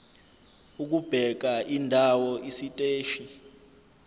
ukubheka indawo isiteshi